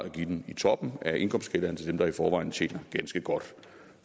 at give dem i toppen af indkomstskalaen til dem der i forvejen tjener ganske godt